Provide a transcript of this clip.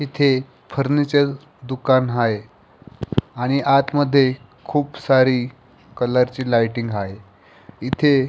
आणि इथे फर्निचर दुकान आहे आणि आतमध्ये खूप सारे कलर चे लायटिंग आहे इथे--